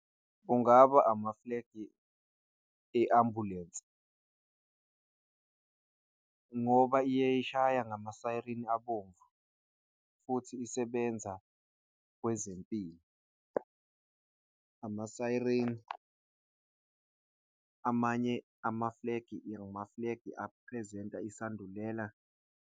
Kungaba amafulegi i-ambulensi ngoba iye ishaye ngama-siren abomvu futhi isebenza kwezempilo. Ama-siren amanye amafulegi ngempela isandulela.